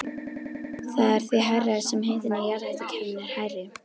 Það er því hærra sem hitinn í jarðhitakerfinu er hærri.